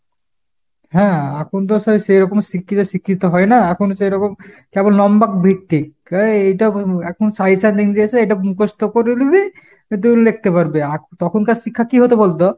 হ্যাঁ এখন তো সে সেরকম শিক্ষিতে শিক্ষিত হয় না, এখন সেরকম । তারপর নম্বাকভিক্তিক এ~ এইটা এখন suggestion দিন, দিয়ে এসে এটা মুখস্ত করে লিবি, then লেখতে পারবি। আখ~ তখনকার শিক্ষা কি হতো বলতো ?